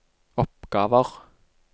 oppgaver